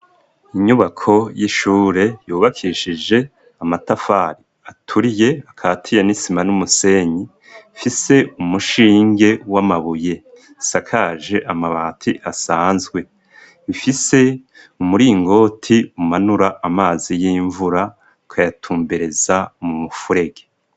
Inyubako y'ishure yubakishije amatafari aturiye, akatiye n'isima n'umusenyi, ifise umushinge w'amabuye, isakaje amabati asanzwe, ifise umuringoti umanura amazi y'imvura ukayatumbereza mu mufurege.